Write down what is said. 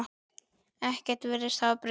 Ekkert virðist hafa breyst.